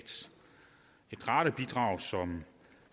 et radarbidrag som